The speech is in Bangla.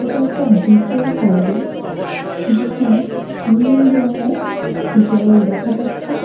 এটা একটা বীচের সাইডে যেখানে নীল রঙের জল দেখা যাচ্ছে।